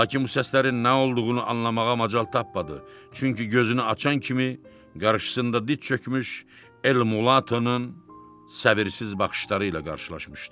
Lakin bu səslərin nə olduğunu anlamağa macal tapmadı, çünki gözünü açan kimi qarşısında dit çökmüş Elmulatonun səbirsiz baxışları ilə qarşılaşmışdı.